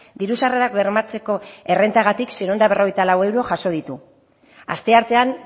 diru sarrerak bermatzeko errentagatik seiehun eta berrogeita lau euro jaso ditu asteartean